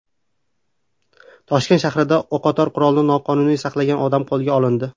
Toshkent shahrida o‘qotar qurolni noqonuniy saqlagan odam qo‘lga olindi.